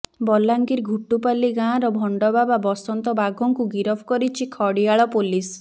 ବଲାଙ୍ଗୀର ଘୁଟୁପାଲି ଗାଁର ଭଣ୍ଡବାବା ବସନ୍ତ ବାଗଙ୍କୁ ଗିରଫ କରିଛି ଖଡିଆଳ ପୋଲିସ